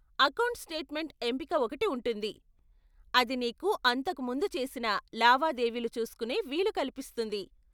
Account statement ఎంపిక ఒకటి ఉంటుంది, అది నీకు అంతకు ముందు చేసిన లావాదేవీలు చూస్కునే వీలు కల్పిస్తుంది.